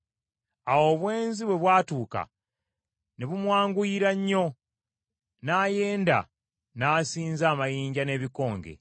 Awo obwenzi bwe bwatuuka ne bumwanguyira nnyo n’ayenda n’asinza amayinja n’ebikonge.